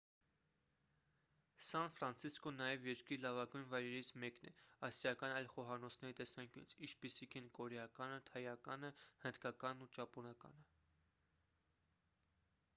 սան ֆրանցիսկոն նաև երկրի լավագույն վայրերից մեկն է ասիական այլ խոհանոցների տեսանկյունից ինչպիսիք են կորեականը թայականը հնդկականն ու ճապոնականը